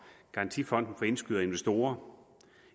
garantifonden for indskydere og investorer